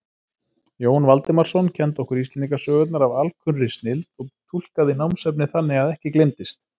Jón Valdimarsson kenndi okkur Íslendingasögurnar af alkunnri snilld og túlkaði námsefnið þannig að ekki gleymdist.